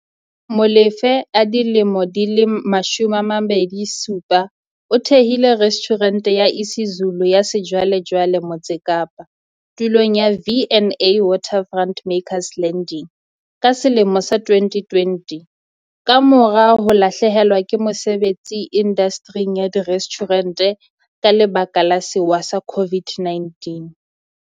Molefe, 27, o thehile restjhurente ya isiZulu ya sejwalejwale Motse Kapa, tulong ya V and A Waterfront's Makers Landing ka selemo sa 2020, kamora ho lahlehelwa ke mosebetsi indastering ya direstjhurente ka lebaka la sewa sa COVID-19.